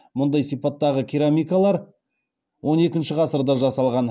мұндай сипаттағы керамикалар он екінші ғасырда жасалған